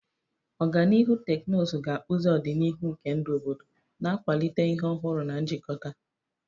Ọganihu teknụzụ ga-akpụzi ọdịnihu nke ndụ obodo, na-akwalite ihe ọhụrụ na njikọta.